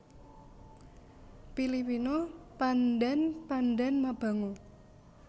Pilipina Pandan Pandan mabango